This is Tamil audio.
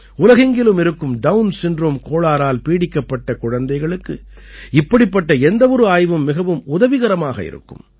உலகெங்கிலும் இருக்கும் டவுன் சிண்ட்ரோம் கோளாறால் பீடிக்கப்பட்ட குழந்தைகளுக்கு இப்படிப்பட்ட எந்த ஒரு ஆய்வும் மிகவும் உதவிகரமாக இருக்கும்